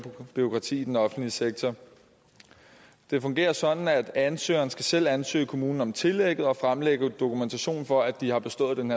bureaukrati i den offentlige sektor det fungerer sådan at ansøgeren selv skal ansøge kommunen om tillæg og fremlægge dokumentation for at de har bestået den